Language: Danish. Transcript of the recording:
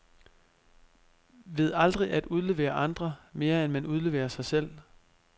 Ved aldrig at udlevere andre, mere end man udleverer sig selv.